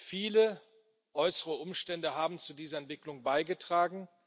Viele äußere Umstände haben zu dieser Entwicklung beigetragen.